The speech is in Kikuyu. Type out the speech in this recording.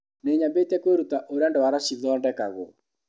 Nĩnyambĩtie kwĩruta ũrĩa ndwara cithondekagwo.